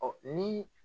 Ɔ ni